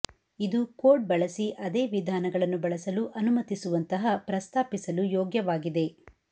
ಇದು ಕೋಡ್ ಬಳಸಿ ಅದೇ ವಿಧಾನಗಳನ್ನು ಬಳಸಲು ಅನುಮತಿಸುವಂತಹ ಪ್ರಸ್ತಾಪಿಸಲು ಯೋಗ್ಯವಾಗಿದೆ